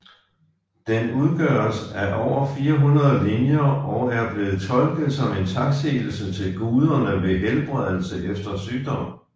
Den udgøres af over 400 linjer og er blevet tolket som en taksigelse til guderne ved helbredelse efter sygdom